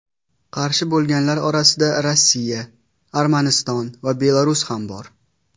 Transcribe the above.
Qarshi bo‘lganlar orasida Rossiya, Armaniston va Belarus ham bor.